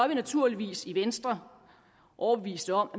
vi naturligvis i venstre overbeviste om